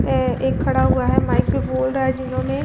ए एक खड़ा हुआ है माइक पे बोल रहा है जिन्होंने --